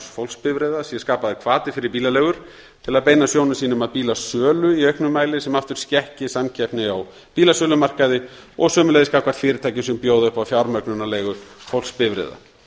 fólksbifreiða sé skapaður hvati fyrir bílaleigur til að beina sjónum sínum að bílasölu í auknum mæli sem aftur skekki samkeppni á bílasölumarkaði og sömuleiðis gagnvart fyrirtækjum sem bjóða upp á fjármögnunarleigu fólksbifreiða